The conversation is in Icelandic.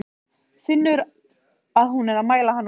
Finnur að hún er að mæla hann út.